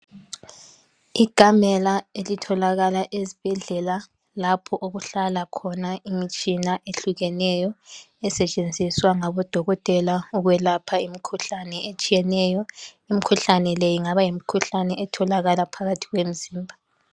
Ikamela elitholakala ezibhedlela lapho okuhlala khona imitshina ehlukeneyo esetshenziswa ngabodokotela ukwelapha imikhuhlane etshiyeneyo. Imikhuhlane le ingaba yimikhuhlane etholakala phakathi kwemizimba.